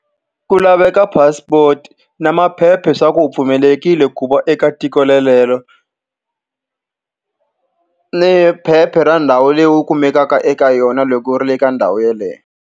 Ku laveka passport na maphepha leswaku pfumelelekile ku va eka tiko relero. Ni phepha ra ndhawu leyi u kumekaka eka yona loko u ri le ka ndhawu yeleyo.